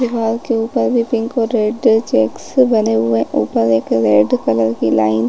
दीवाल के ऊपर भी पिंक और रेड चेक्स बने हुए है ऊपर एक रेड कलर की लाइन --